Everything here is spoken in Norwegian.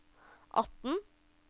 atten